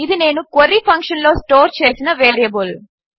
ఇది నేను క్వెరీ ఫంక్షన్లో స్టోర్ చేసిన వేరియబుల్